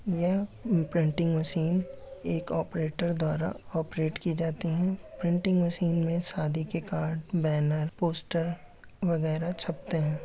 यह printing machine एक operator द्वारा ऑपरेट की जाती है। प्रिंटिंग मशीन में शादी के कार्ड बैनर पोस्टर वगैरह छपते हैं।